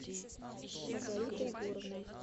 маргарита егоровна